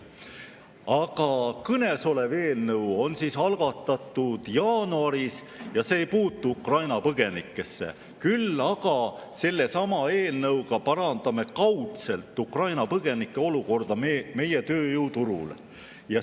Aga kõnesolev eelnõu on algatatud jaanuaris ja see ei puutu Ukraina põgenikesse, küll aga parandame sellesama eelnõuga kaudselt ka Ukraina põgenike olukorda meie tööturul.